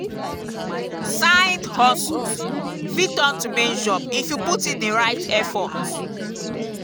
side-hustles fit turn to main job if you put in di right effort.